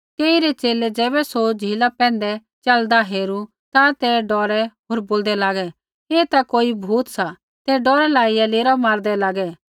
तेइरै च़ेले ज़ैबै सौ झ़ीला पैंधै च़लदा हेरू ता ते डौरै होर बोलदै लागै ऐ ता कोई भूत सा ते डौरै लाइया लेरा मारदै लागै